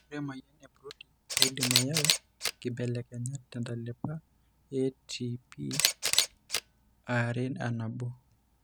Ore emuoyian eBrody keidim ayau inkibelekenyat tentalipa eATPareAnabo.